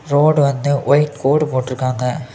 Road வந்து white கோடு போட்டு இருக்காங்க.